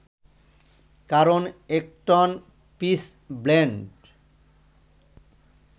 কারণ এক ton pitchblende